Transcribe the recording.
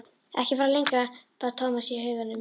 Ekki fara lengra, bað Thomas í huganum.